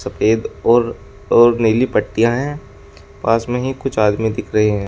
सफेद और और नीली पट्टियां हैं पास में ही कुछ आदमी दिख रहे हैं।